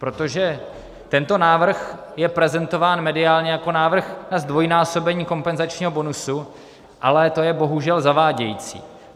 Protože tento návrh je prezentován mediálně jako návrh na zdvojnásobení kompenzačního bonusu, ale to je bohužel zavádějící.